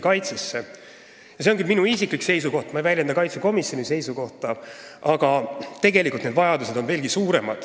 See on küll minu isiklik seisukoht, st ma ei väljenda riigikaitsekomisjoni seisukohta, aga tegelikult on vajadused veelgi suuremad.